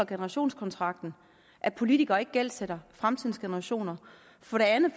generationskontrakten at politikere ikke gældsætter fremtidens generationer for det andet